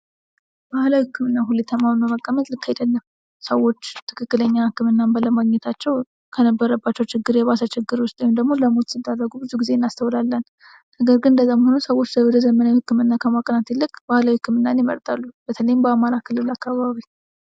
ባህላዊ ህክምናን ሁሌ ተማምኖ መቀመጥ ልክ አይደለም። ሰዎች ትክክለኛ ህክምናን ባለማግኘታቸው ከነበረባቸው ችግር የባሰ ችግር ውስጥ ወይንም ደግሞ ለሞት ሲደረጉ እናስተውላለን። ነገር ግን እንደዛም ሆኖ ሰዎች ወደ ዘመናዊ ህክምና ከማቅናት ይልቅ ክምናን ይመርጣሉ። በተለይም በአማራ ክልል አካባቢ